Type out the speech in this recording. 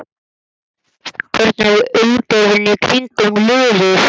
Hvernig er umgjörðin í kringum liðið?